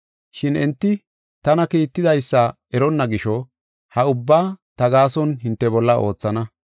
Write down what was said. Shin enti tana kiittidaysa eronna gisho ha ubbaa ta gaason hinte bolla oothana.